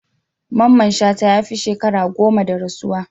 Mamman Shata ya fi sheka goma da rasuwa.